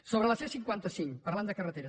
sobre la c cinquanta cinc parlant de carreteres